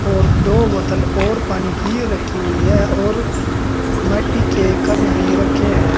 और दो बोतल और पानी की रखी हुई है और मट्टी के कप भी रखे हैं।